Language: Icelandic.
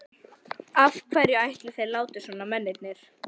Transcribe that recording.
Af hverju ætli þeir láti svona, mennirnir?